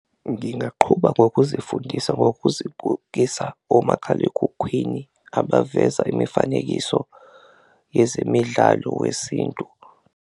Ngingaqhuba ngokuzifundisa ngokuzigugisa omakhalekhukhwini abaveza imifanekiso yezemidlalo wesintu.